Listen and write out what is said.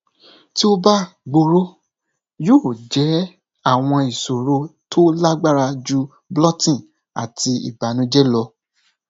ti o ba gbooro yoo jẹ awọn iṣoro to lagbara ju bloating ati ibanujẹ lọ